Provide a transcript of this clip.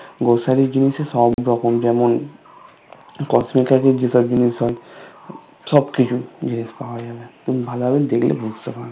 Grocery এর জিনিস এ সব রকম যেমন কসমে কাজের যেসব জিনিস হয় সবকিছু জিনিস পাওয়া যায় তুমি ভালোভাবে দেখলে বুঝতে পারবে